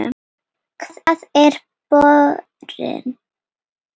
Hvar er borinn?